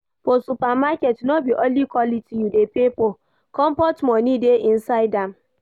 For supermarket no be only quality you dey pay for, comfort moni dey inside am.